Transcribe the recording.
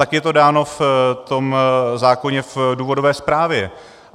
Tak je to dáno v tom zákoně v důvodové zprávě.